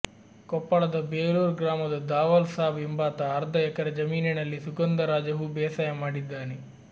ಕೊಪ್ಪಳದ ಬೆಲೂರ್ ಗ್ರಾಮದ ದಾವಲ್ ಸಾಬ್ ಎಂಬಾತ ಅರ್ಧ ಎಕರೆ ಜಮೀನಿನಲ್ಲಿ ಸುಗಂಧರಾಜ ಹೂ ಬೇಸಾಯ ಮಾಡಿದ್ದಾನೆ